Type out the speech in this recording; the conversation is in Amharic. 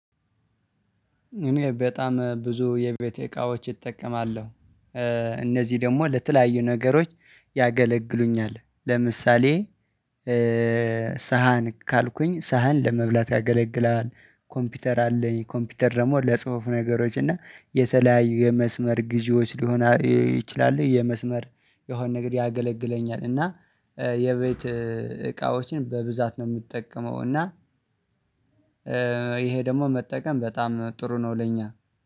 እኔ በጣም ብዙ የቤቴ እቃዎች እጠቀማለሁ። እነዚህ ደግሞ ለተለያዩ ነገሮች ያገለግሉኛል። ለምሳሌ ሳህን ካልኩኝ ሳህን ለመብላት ያገለግላል። ኮምፒውተር አለኝ ኮምፒውተር ደግሞ ለጽሁፍ ነገሮች እና የተለያዩ የመስመር ጊዜዎች ሊሆን ይችላል። የመስመር የሆነ ነገር ያገለግለኛል። እና የቤት እቃዎችን በብዛት ነው የምጠቀመው። እና ይሄ ደግሞ መጠቀም በጣም ጥሩ ነው። ለኛ